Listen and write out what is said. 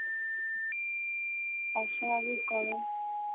অস্বাভাবিক গরম